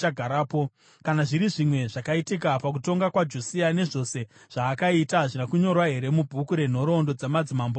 Kana zviri zvimwe zvakaitika pakutonga kwaJosia, nezvose zvaakaita, hazvina kunyorwa here mubhuku renhoroondo dzamadzimambo eJudha?